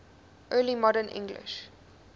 early modern english